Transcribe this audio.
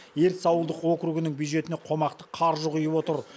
ертіс ауылдық округінің бюджетіне қомақты қаржы құйып отыр